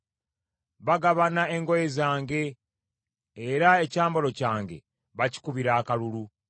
Bagabana engoye zange; era ekyambalo kyange bakikubira akalulu.